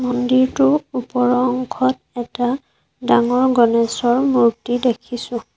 মন্দিৰটো ওপৰ অংশত এটা ডাঙৰ গণেছৰ মূৰ্ত্তি দেখিছোঁ